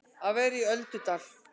Að vera í öldudal